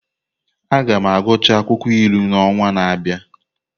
Aga m agụchaa akwụkwọ ilu n’ọnwa na-abịa.